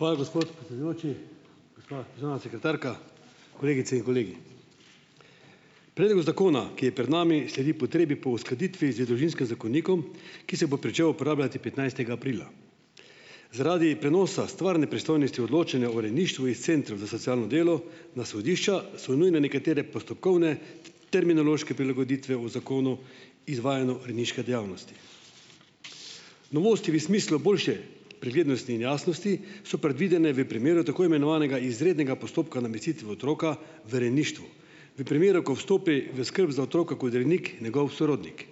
Hvala, gospod predsedujoči. Gospa državna sekretarka, kolegice in kolegi! Predlog zakona, ki je pred nami, sledi potrebi po uskladitvi z družinskem zakonikom, ki se bo pričel uporabljati petnajstega aprila. Zaradi prenosa stvarne pristojnosti odločanja o rejništvu iz centrov za socialno delo na sodišča so nujne nekatere postopkovne, terminološke prilagoditve v Zakonu izvajanju rejniške dejavnosti. Novosti v smislu boljše preglednosti in jasnosti so predvidene v primeru tako imenovanega izrednega postopka namestitve otroka v rejništvu v primeru, ko vstopi v skrb za otroka kot rejnik njegov sorodnik.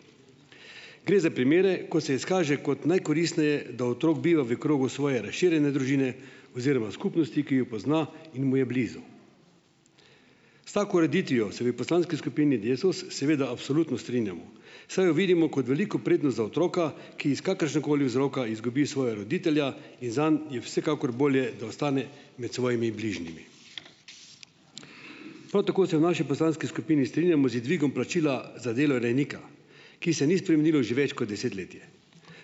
Gre za primere, ko se izkaže kot najkoristneje, da otrok biva v krogu svoje razširjene družine oziroma skupnosti, ki jo pozna in mu je blizu. S tako ureditvijo se v poslanski skupini Desus seveda absolutno strinjamo, saj jo vidimo kot veliko prednost za otroka, ki iz kakršnegakoli vzroka izgubi svoja roditelja in zanj je vsekakor bolje, da ostane med svojimi bližnjimi. Prav tako se v naši poslanski skupini strinjamo z dvigom plačila za delo rejnika, ki se ni spremenilo že več kot desetletje.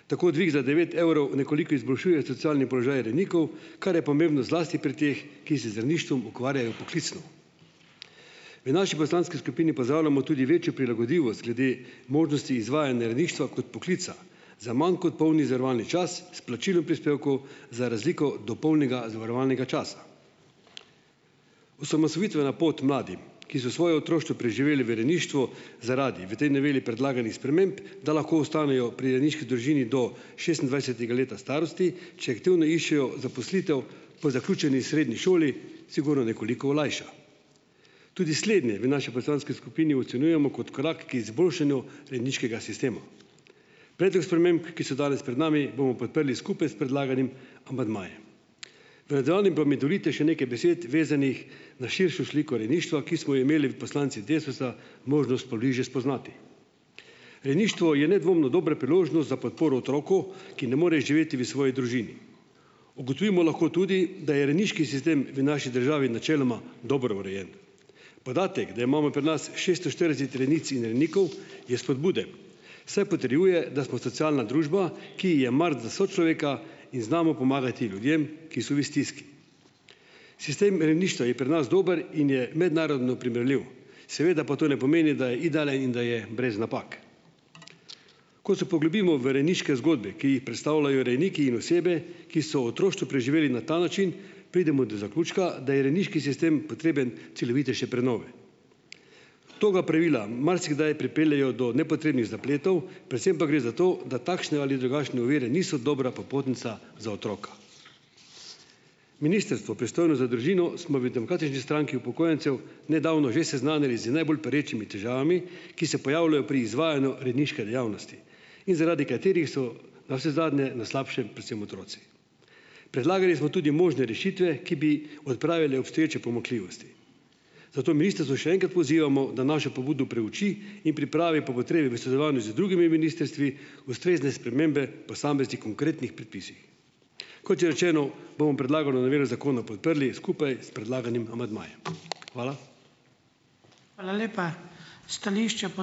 Tako dvig za devet evrov nekoliko izboljšuje socialni položaj rejnikov, kar je pomembno zlasti pri teh, ki se z rejništvom ukvarjajo poklicno. V naši poslanski skupini pozdravljamo tudi večjo prilagodljivost glede možnosti izvajanja rejništva kot poklica za manj kot polni zavarovalni čas s plačilom prispevkov za razliko od dopolnjenega zavarovalnega časa. Osamosvojitvena pot mladim, ki so svoje otroštvo preživeli v rejništvu zaradi v tej noveli predlaganih sprememb, da lahko ostanejo pri rejniški družini do šestindvajsetega leta starosti, če aktivno iščejo zaposlitev po zaključeni srednji šoli, sigurno nekoliko olajša. Tudi slednje v naši poslanski skupini ocenjujemo kot korak k izboljšanju rejniškega sistema. Predlog sprememb, ki so danes pred nami, bomo podprli skupaj s predlaganim amandmajem. V danem pa mi dovolite še nekaj besed, vezanih na širšo sliko rejništva, ki smo jo imeli poslanci Desusa možnost pobliže spoznati. Rejništvo je nedvomno dobra priložnost za podporo otroku, ki ne more živeti v svoji družini. Ugotovimo lahko tudi, da je rejniški sistem v naši državi načeloma dobro urejen. Podatek, da imamo pri nas šeststo štirideset rejnic in rejnikov, je spodbuden, saj potrjuje, da smo socialna družba, ki ji je mar za sočloveka in znamo pomagati ljudem, ki so v stiski. Sistem rejništva je pri nas dober in je mednarodno primerljiv, seveda pa to ne pomeni, da je idealen in da je brez napak. Ko se poglobimo v rejniške zgodbe, ki jih predstavljajo rejniki in osebe, ki so otroštvo preživeli na ta način, pridemo do zaključka, da je rejniški sistem potreben celovitejše prenove. Tega pravila marsikdaj pripeljejo do nepotrebnih zapletov, predvsem pa gre za to, da takšne ali drugačne ovire niso dobra popotnica za otroka. Ministrstvo pristojno za družino smo v Demokratični stranki upokojencev nedavno že seznanili z najbolj perečimi težavami, ki se pojavljajo pri izvajanju rejniške dejavnosti in zaradi katerih so navsezadnje na slabšem predvsem otroci. Predlagali smo tudi možne rešitve, ki bi odpravile obstoječe pomanjkljivosti. Zato ministrstvo še enkrat pozivamo, da našo pobudo preuči in pripravi po potrebi v sodelovanju z drugimi ministrstvi ustrezne spremembe posameznih konkretnih predpisih. Kot že rečeno, bomo predlagano novelo zakona podprli skupaj s predlaganim amandmajem. Hvala.